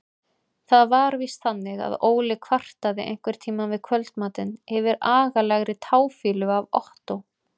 Það var víst þannig að Óli kvartaði einhverntíma við kvöldmatinn yfir agalegri táfýlu af Ottó.